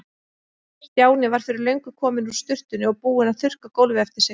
Stjáni var fyrir löngu kominn úr sturtunni og búinn að þurrka gólfið eftir sig.